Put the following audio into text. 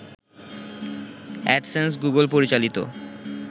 AdSense, Google পরিচালিত